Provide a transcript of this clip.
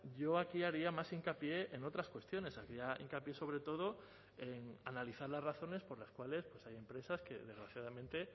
yo aquí haría más hincapié en otras cuestiones haría hincapié sobre todo en analizar las razones por las cuales hay empresas que desgraciadamente